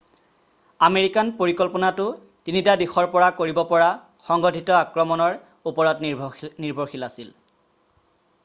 American পৰিকল্পনাটো 3টা দিশৰ পৰা কৰিব পৰা সংগঠিত আক্ৰমণৰ ওপৰত নিৰ্ভৰশীল আছিল